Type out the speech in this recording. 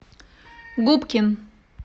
губкин